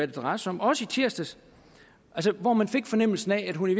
drejer sig om også i tirsdags hvor man fik fornemmelsen af at hun i